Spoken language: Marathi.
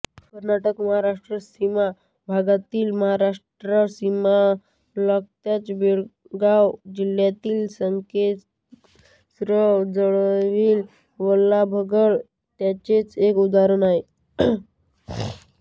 कर्नाटकमहाराष्ट्र सीमा भागातील महाराष्ट्र सीमालगतच्या बेळगाव जिल्ह्यातील संकेश्वर जवळील वल्लभगड त्याचेच एक उदाहरण आहे